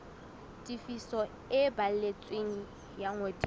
tefiso e balletsweng ya ngodiso